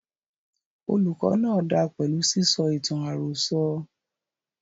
Olùkó náà dáa pẹlú sísọ ìtàn àròsọ.